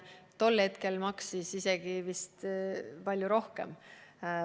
Tol hetkel maksis see vist isegi palju rohkem.